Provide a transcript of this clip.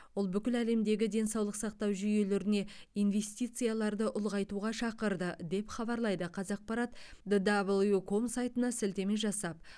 ол бүкіл әлемдегі денсаулық сақтау жүйелеріне инвестицияларды ұлғайтуға шақырды деп хабарлайды қазақпарат д дабл ю ком сайтына сілтеме жасап